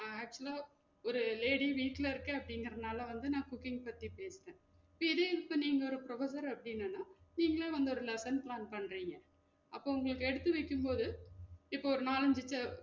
அஹ் Actual ஆ ஒரு lady வீட்ல இருக்கன் அப்டிங்குறதுனால வந்து நா cooking பத்தி பேசுனன் இப்ப இதே இப்ப நீங்க ஒரு professor அப்டீங்கன்னா நீங்களே வந்து ஒரு lessons learn பண்றீங்க அப்போ உங்களுக்கு எடுத்துரைக்கும் போது இப்போ ஒரு நாலு அஞ்சு